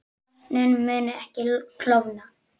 Vötnin munu ekki klofna